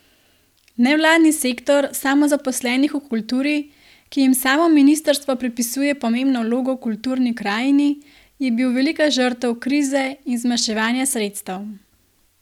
Nevladni sektor samozaposlenih v kulturi, ki jim samo ministrstvo pripisuje pomembno vlogo v kulturni krajini, je bil velika žrtev krize in zmanjševanja sredstev.